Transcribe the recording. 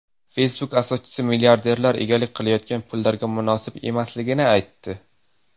Facebook asoschisi milliarderlar egalik qilayotgan pullarga munosib emasligini aytdi.